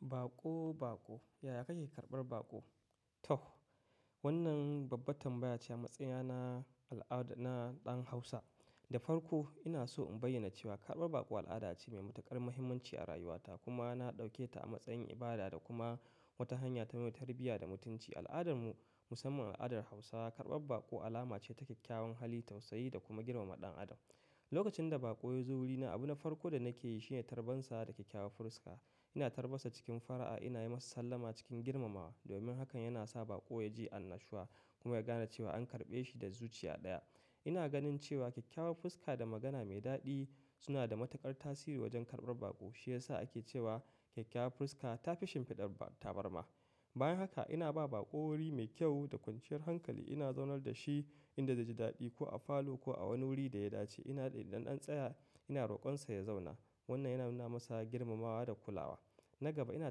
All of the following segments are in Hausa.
Baƙo, baƙo. Yaya kake karɓar baƙo? To, wannan babbar tambaya ce a matsayina na al'ada na ɗan Hausa. Da farko ina so in bayyana cewa karɓar baƙo al'ada ce mai matuƙar muhimmanci a rayuwata kuma na ɗauke ta a matsayin ibada da kuma wata hanya ta mai tarbiyya da mutunci. A al'adar mu musamman al'adar Hausawa, karɓar baƙo alama ce ta kyakkyawan hali, tausayi da kuma girmama ɗan adam. Lokacin da baƙo ya zo wurina, abun na farko da nake yi shine tarbansa da kyakkyawan fuska. Ina tarban sa cikin fara'a, ina yi masa sallama cikin girmamawa domin hakan yana sa baƙo ya ji annashuwa kuma ya gane cewa an karɓe shi da zuciya ɗaya. Ina ganin cewa kyakkyawan fuska da magana mai daɗi suna da matuƙar tasiri wajen karɓar baƙo. Shi ya sa ake cewa kyakkyawan fuska ta fi shimfiɗar tabarma. Bayan haka ina ba baƙo wuri mai kyau da kwanciyar hankali. Ina zaunar da shi inda zai ji daɗi ko a falo ko a wani wuri da ya dace. Ina ɗin ɗanɗan tsaya, ina roƙonsa ya zauna. Wannan yana nuna masa girmamawa da kulawa. Na gaba ina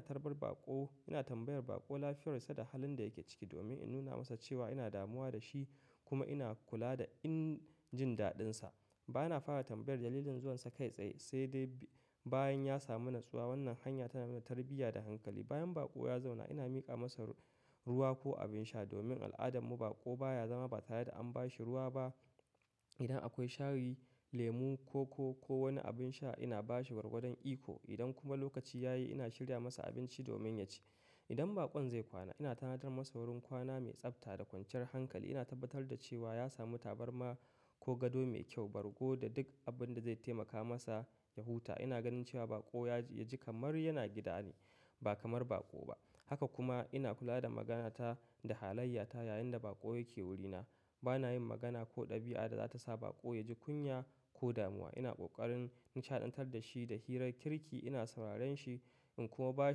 tarbar baƙo, ina tambayar baƙo lafiyar sa da halin da yake ciki domin in nuna masa cewa ina damuwa da shi kuma ina kula da in jin daɗinsa. Ba na fara tambayar dalilin zuwansa kai tsaye sai dai bayan ya samu natsuwa. Wannan hanya tana nuna tarbiyya da hankali. Bayan baƙo ya zauna ina miƙa masa ruwa ko abin sha domin a al'adar mu baƙo baya zama ba tare da an ba shi ruwa ba. Idan akwai shayi, lemu, koko ko wani abin sha ina ba shi bargudan iko. Idan kuma lokaci ya yi ina shirya masa abinci domin ya ci. Idan baƙon zai kwana ina tanadar masa wurin kwana mai tsafta da kwanciyar hankali. Ina tabbatar da cewa ya samu tabarma ko gado mai kyau, bargo da duk abin da zai taimaka masa ya huta. Ina ganin cewa baƙo ya ji kamar yana gida ne ba kamar baƙo ba. Haka kuma ina kula da magana ta da halayya ta yayinda baƙo yake wurina. Ba na yin magana ko ɗabi'a da za ta sa baƙo ya ji kunya ko damuwa. Ina ƙoƙarin nishaɗantar da shi da hirar kirki, ina sauraren shi in kuma ba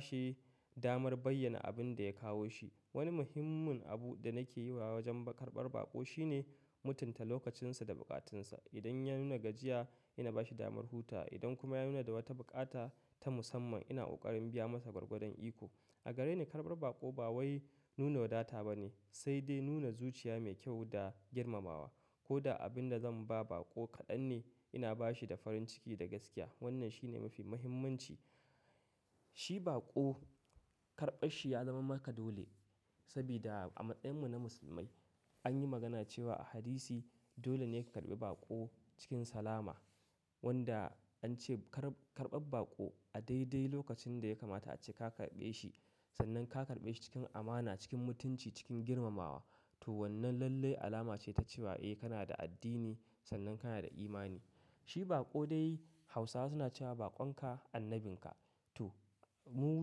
shi damar bayyana abin da ya kawo shi. Wani muhimmin abu da nake yi wajen karɓar baƙo shine mutunta lokacin sa da buƙatun sa. Idan ya nuna gajiya ina ba shi damar huta. Idan kuma ya nuna da wata buƙata ta musamman ina ƙoƙarin biya masa bargudan iko. A gare ni karɓar baƙo ba wai nuna wadata ba ne sai dai nuna zuciya mai kyau da girmamawa. Ko da abin da zan ba baƙo kaɗan ne ina ba shi da farin ciki da gaskiya. Wannan shine mafi muhimmanci. Shi baƙo karɓar shi ya zama maka dole saboda a matsayin mu na musulmai an yi magana cewa a hadisi dole ne ka karɓi baƙo cikin salama wanda an ce karɓar baƙo a daidai lokacin da ya kamata ace ka karɓe shi sannan ka karɓe shi cikin amana, cikin mutunci, cikin girmamawa. To wannan lallai alama ce ta cewa eh kana da addini sannan kana da imani. Shi baƙo dai Hausawa suna cewa "baƙon ka annabin ka". To mu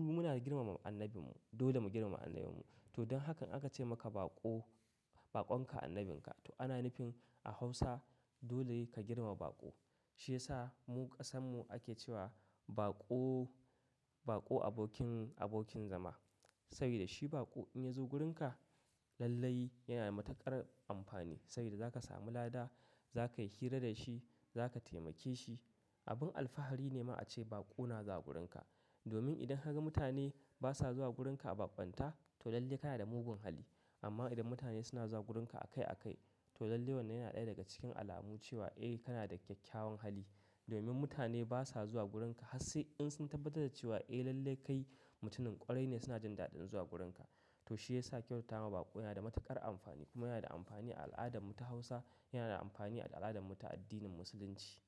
muna girmama annabin mu, dole mu girmama annabin mu. To don haka aka ce maka baƙo, baƙon ka annabin ka. To ana nufin a Hausa dole ka girmama baƙo. Shi ya sa mu ƙasan mu ake cewa baƙo, baƙo abokin, abokin zama. Saboda shi baƙo in ya zo gurin ka lallai yana da matuƙar amfani saboda za ka samu lada, za ka yi hira da shi, za ka taimake shi. Abin alfahari ne ma a ce baƙo na zuwa wurin ka. Domin idan ka ga mutane basa zuwa gurin ka a bambanta to lallai kana da mugun hali. Amma idan mutane suna zuwa wurin ka a kai a kai to lallai wannan yana ɗaya daga cikin alamu cewa eh kana da kyakkyawan hali. Domin mutane basa zuwa gurin ka har sai in sun tabbatar da cewa eh lallai kai mutumin ƙwarai ne suna jin daɗin zuwa wurin ka. To shi ya sa kyautatawa baƙo yana da matuƙar amfani kuma yana da amfani a al'adar mu ta Hausa, yana da amfani a al'adar mu ta addinin musulunci.